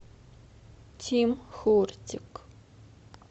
тим хортик